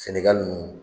Sɛnɛgali nunnu